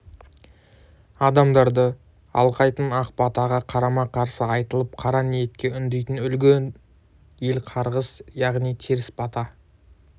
адамдарды алқайтын ақ батаға қарама қарсы айтылып қара ниетке үндейтін үлгіні ел қарғыс яғни теріс бата